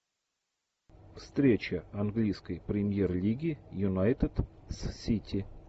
встреча английской премьер лиги юнайтед с сити